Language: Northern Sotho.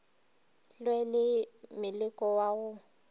lwe le moleko wa go